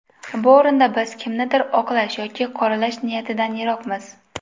Bu o‘rinda biz kimnidir oqlash yoki qoralash niyatidan yiroqmiz.